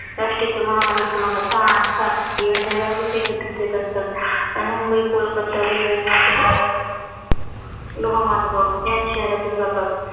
महामार्ग क्रमांक सहा आणि सात या शहरामध्येच एकत्रीत येत असतात. आणि मुंबई-कोलकत्ता railway महामार्ग लोह मार्ग याच शहरातून जातात.